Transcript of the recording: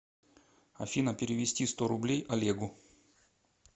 афина перевести сто рублей олегу